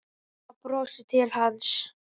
Ása brosir til hans.